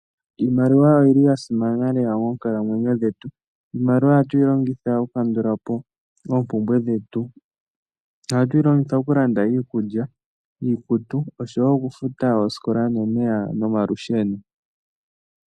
Iimaliwa oyili ya simana lela moonkalamwenyo dhetu. Iimaliwa ohatu yi longitha oku kandulapo oompumbwe dhetu. Ohatu yi longitha okulanda iikulya, iikutu, oshowo okufuta oosikola, nomeya nomalusheno.